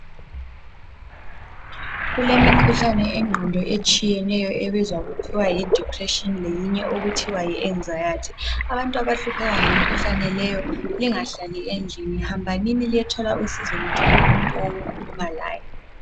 Kulemikhuhlane yengqondo etshiyeneyo ebizwa kuthiwa yi"depression" leyinye okuthiwa yi"anxiety" .Abantu abahlupheka ngemikhuhlane leyo lingahlali endlini, hambanini liyethola usizo lithole umuntu owokukhuluma laye.